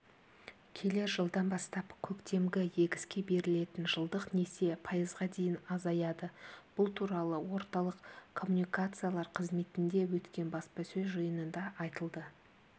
келер жылдан бастап көктемгі егіске берілетін жылдық несие пайызға дейін азаяды бұл туралы орталық коммуникациялар қызметінде өткен баспасөз жиынында айтылды